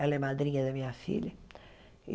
Ela é madrinha da minha filha.